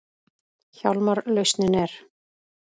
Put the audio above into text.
Hjálmar lausnin er.